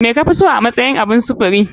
Me kafiso a matsayin abun sufuri?